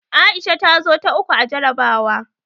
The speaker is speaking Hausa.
Aisha ta zo ta uku a jarabawa.